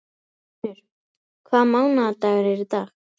Guðfinnur, hvaða mánaðardagur er í dag?